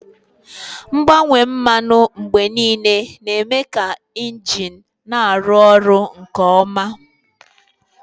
Mgbanwe mmanụ mgbe niile na-eme ka injin na-arụ ọrụ nke ọma.